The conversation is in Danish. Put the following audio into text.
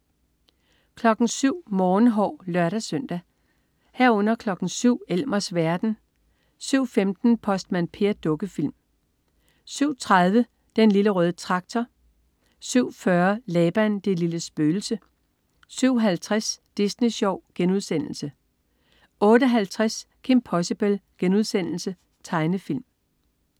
07.00 Morgenhår (lør-søn) 07.00 Elmers verden (lør-søn) 07.15 Postmand Per. Dukkefilm (lør-søn) 07.30 Den Lille Røde Traktor. Dukkefilm 07.40 Laban, det lille spøgelse 07.50 Disney Sjov* 08.50 Kim Possible.* Tegnefilm